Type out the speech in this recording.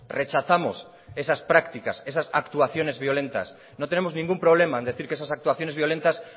rechazamos esas prácticas esas actuaciones violentas no tenemos ningún problema en decir que esas actuaciones violentas